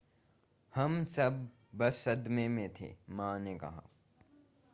हम सब बस सदमे में थे मां ने कहा